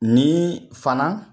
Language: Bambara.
Ni fana